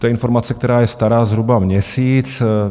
To je informace, která je stará zhruba měsíc.